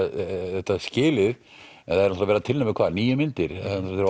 þetta skilið en þeir eru að tilnefna hvað níu myndir